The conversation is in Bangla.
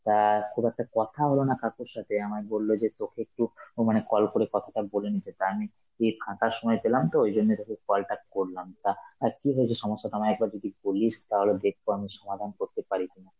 তা খুব একটা কথা হলো না কাকুর সাথে আমার, বলল যে তোকে একটু ও মানে call করে কথাটা বলে নিতে, তা আমি এই ফাঁকা সময় পেলাম তো ওই জন্য তোকে call টা করলাম, তা অ্যাঁ কি হয়েছে সমস্যাটা আমায় একবার যদি বলিস তাহলে দেখব আমি সমাধান করতে পারি কিনা.